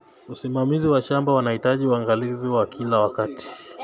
Usimamizi wa shamba unahitaji uangalizi wa kila wakati.